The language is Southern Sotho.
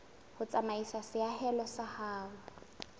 ho tsamaisa seahelo sa ho